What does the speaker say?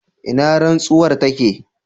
ina rantsuwar take?